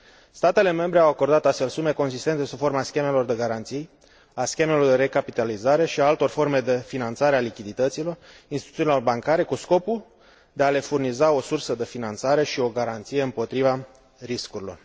Statele membre au acordat, astfel, sume consistente sub forma schemelor de garanții, a schemelor de recapitalizare și a altor forme de finanțare a lichidităților instituțiilor bancare, cu scopul de a le furniza o sursă de finanțare și o garanție împotriva riscurilor.